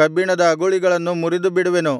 ಕಬ್ಬಿಣದ ಅಗುಳಿಗಳನ್ನು ಮುರಿದುಬಿಡುವೆನು